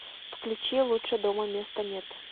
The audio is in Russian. включи лучше дома места нет